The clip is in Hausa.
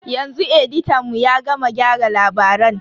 Yanzu editan mu ya gama gyara labaran.